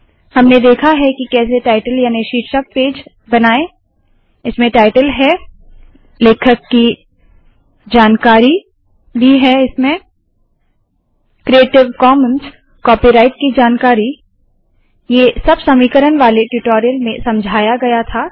हमने देखा है के कैसे टाइटल याने शीर्षक पेज बनाए इसमें टाइटल है लेखक की जानकारी क्रिएटिव कॉमन्स कॉपीराइट की जानकारी ये सब समीकरण वाले ट्यूटोरियल में समझाया गया था